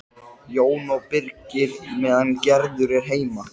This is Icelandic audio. Enga sérstaka menntun, svarar hún því sannleikanum samkvæmt.